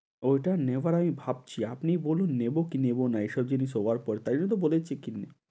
ওটা নেবার আগ ভাবছি, আপনি বলুন নেবো কি নেবো না? এইসব জিনিস over ওভার বলেছি।